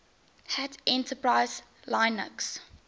hat enterprise linux